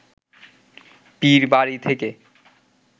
পীরবাড়ি থেকে